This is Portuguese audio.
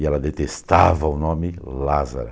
E ela detestava o nome Lázara.